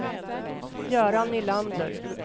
Göran Nylander